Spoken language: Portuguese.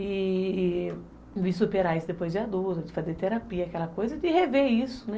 E e vi superar isso depois de adulto, de fazer terapia, aquela coisa, de rever isso, né?